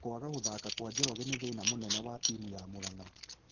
Kwaga gũthaka kwa Njoroge ni thĩna mũnene wa tĩmũ ya Muranga